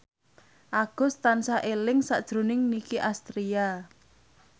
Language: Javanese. Agus tansah eling sakjroning Nicky Astria